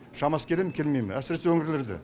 шамасы келе ме келмей ме әсіресе өңірлерде